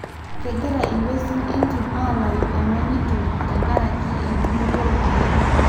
kengira inwesin entim alayu emanyito tenkaraki endungoto olkeek.